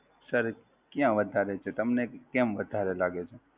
Sir, ક્યાં વધારે છે, તમને કેમ વધારે લાગે છે?